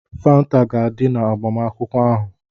Fanta ga-adị na agbamakwụkwọ ahụ.